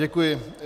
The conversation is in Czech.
Děkuji.